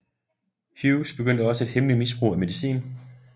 Hughes begyndte også et hemmeligt misbrug af medicin